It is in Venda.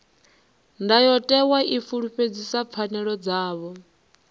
ndayotewa i fulufhedzisa pfanelo dzavho